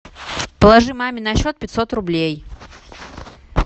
положи маме на счет пятьсот рублей